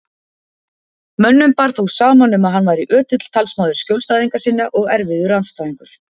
Mönnum bar þó saman um að hann væri ötull talsmaður skjólstæðinga sinna og erfiður andstæðingur.